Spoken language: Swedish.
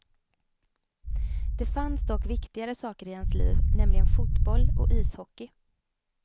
Det fanns dock viktigare saker i hans liv, nämligen fotboll och ishockey.